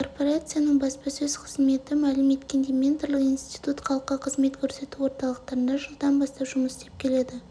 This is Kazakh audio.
корпорацияның баспасөз қызметі мәлім еткендей менторлық институт халыққа қызмет көрсету орталықтарында жылдан бастап жұмыс істеп келеді